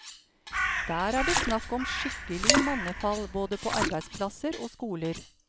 Der er det snakk om skikkelig mannefall både på arbeidsplasser og skoler.